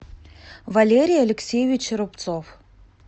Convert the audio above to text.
валерий алексеевич рубцов